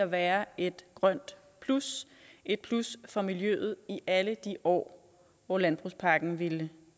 være et grønt plus et plus for miljøet i alle de år hvor landbrugspakken ville